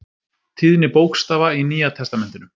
Tíðni bókstafa í Nýja testamentinu.